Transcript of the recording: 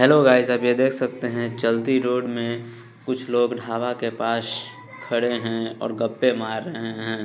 Hello guys आप ये देख सकते हैं चलती रोड में कुछ लोग ढाबा के पास खड़े हैं और गप्पे मार रहे हैं।